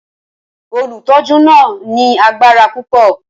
Olùtọ́jú náà ní agbára púpọ̀.